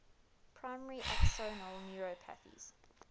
primary axonal neuropathies